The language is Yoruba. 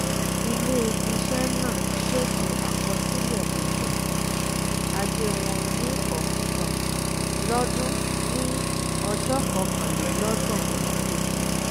ilẹ̀ iṣẹ́ náà ṣètò àkọsílẹ̀ ètò um ajé wọn ní ọkàn lọ́dún ní ọjọ́ kọkànlélọ́gbọ̀n oṣù kejìlá.